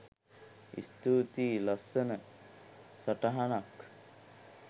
ස්තූතියිලස්සන සටහනක්